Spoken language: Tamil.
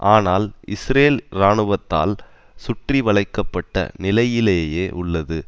ஆனால் இஸ்ரேல் இராணுவத்தால் சுற்றிவளைக்க பட்ட நிலையிலேயே உள்ளது